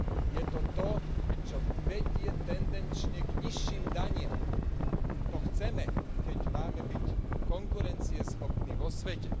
Je to to, čo vedie tendenčne k nižším daniam to chceme, ak máme byť konkurencieschopní vo svete.